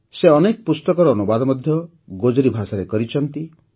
ସେ ଅନେକ ପୁସ୍ତକର ଅନୁବାଦ ମଧ୍ୟ ଗୋଜରୀ ଭାଷାରେ କରିଛନ୍ତି